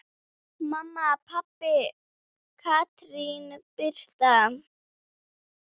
Mamma, pabbi og Katrín Birta.